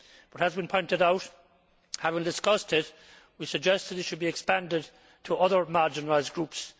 It has been pointed out and, having discussed it, we suggest that it should be expanded to other marginalised groups.